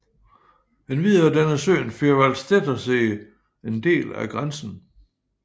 Endvidere danner søen Vierwaldstättersee en del af grænsen